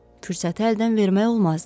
Fürsəti əldən vermək olmazdı.